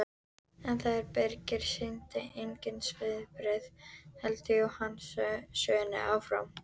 En þegar Birkir sýndi engin svipbrigði hélt Jóhann sögunni áfram